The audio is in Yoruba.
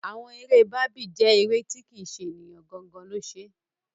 Àwọn eré Barbie jẹ́ eré tí kì ṣe ènìyàn gangan lo ṣe.